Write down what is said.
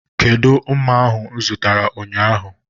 Kedụ mma ahu mụ zụtara ụnyaahụ?